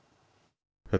þetta